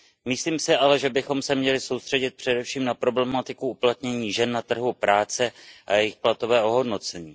Myslím si ale, že bychom se měli soustředit především na problematiku uplatnění žen na trhu práce a jejich platové ohodnocení.